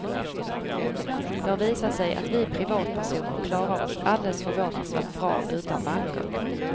Det har visat sig att vi privatpersoner klarar oss alldeles förvånansvärt bra utan banker.